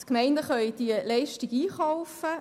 Die Gemeinden können diese Leistung einkaufen.